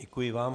Děkuji vám.